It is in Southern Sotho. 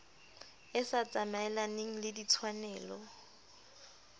e sa tsamaelaneng le ditshwanelo